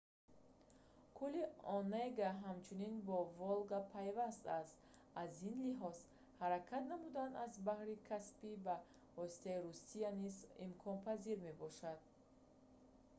кӯли онега ҳамчунин бо волга пайваст аст аз ин лиҳоз ҳаракат намудан аз баҳри каспий ба воситаи русия низ имконпазир мебошад